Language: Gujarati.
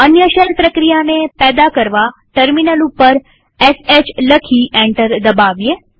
અન્ય શેલ પ્રક્રિયાને પેદા કરવાટર્મિનલ ઉપર શ લખી એન્ટર દબાવીએ